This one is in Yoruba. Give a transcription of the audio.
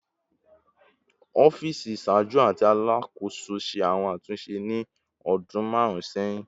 Ọfiisi iṣaaju ti Alakoso ṣe awọn atunṣe ni ọdun marun sẹhin